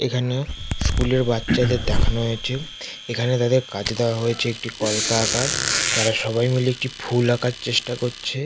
এখানে স্কুল এর বাচ্চাদের দেখানো হয়েছে। এখানে তাদের কাজে দেওয়া হয়েছে একটি কলকা আঁকার। তারা সবাই মিলে একটি ফুল আঁকার চেষ্টা করছে।